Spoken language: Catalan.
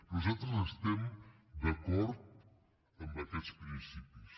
nosaltres estem d’acord amb aquests principis